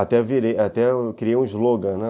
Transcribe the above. Até virei, criei um slogan, né?